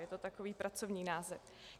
Je to takový pracovní název.